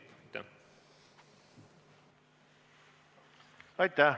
Aitäh!